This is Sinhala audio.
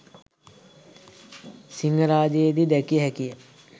සිංහරාජයේදී දැකිය හැකිය